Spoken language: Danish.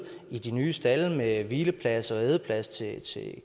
i de nye stalde med hvileplads og ædeplads til